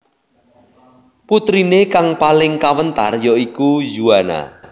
Puterine kang paling kawentar ya iku Yuana